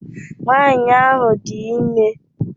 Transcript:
Nwaanyị ahụ dị ime.